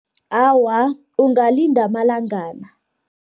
Awa, ungalinda amalangana.